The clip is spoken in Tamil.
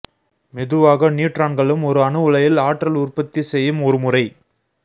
மெதுவாக நியூட்ரான்களும் ஒரு அணு உலையில் ஆற்றல் உற்பத்தி செய்யும் ஒரு முறை